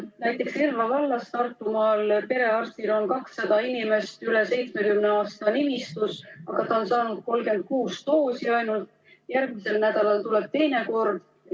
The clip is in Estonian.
Näiteks Tartumaal Elva vallas on perearstil 200 üle 70-aastast inimest nimistus, aga ta on saanud ainult 36 doosi, järgmisel nädalal peaksid tulema uued doosid.